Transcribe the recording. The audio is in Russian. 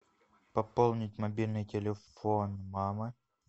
пополнить мобильный телефон мамы